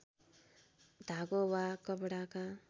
धागो वा कपडाका